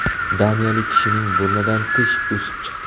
Daniyalik kishining burnidan tish o‘sib chiqdi.